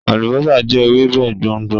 Alubosa jẹ Ewebe gbongbo